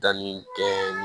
Danni kɛ